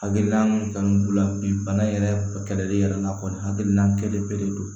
Hakilina min kanu b'u la bi bana yɛrɛ kɛlɛli yɛrɛ la kɔni hakilina bere don